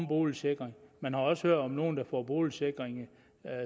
boligsikring man har også hørt om nogen der får boligsikring